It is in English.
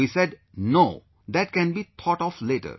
We said no...that can be thought of later